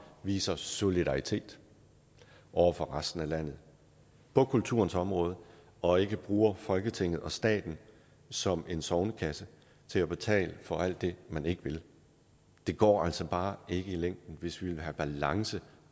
viser solidaritet over for resten af landet på kulturens område og ikke bruger folketinget og staten som en sognekasse til at betale for alt det man ikke vil det går altså bare ikke i længden hvis vi vil have balance